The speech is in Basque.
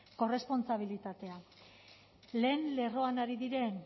korrespontsabilitatea lehen lerroan ari